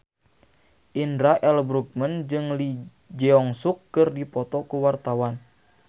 Indra L. Bruggman jeung Lee Jeong Suk keur dipoto ku wartawan